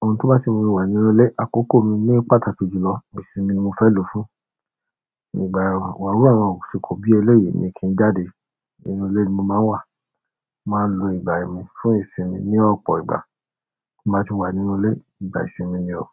Oun to ba si mumi wa nínú ilẹ akoko mi ni pàtàkì julọ ìsinmi ni mo fe lo fún. Ní ìgbà wa wùwà, aṣikò bí ẹlẹ́yìí ni kí n jáde. Inú ilé ni mo máa ń wà, màá ń lo ìgbà mi fún ìsinmi ní ọ̀pọ̀ ìgbà. Bí mo bá tì wà nínú ilé, ìgbà ìsinmi ni o.